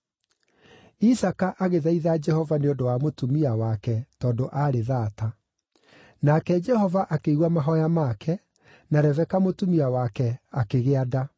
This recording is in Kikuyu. Isaaka agĩthaitha Jehova nĩ ũndũ wa mũtumia wake tondũ aarĩ thaata. Nake Jehova akĩigua mahooya make, na Rebeka mũtumia wake akĩgĩa nda.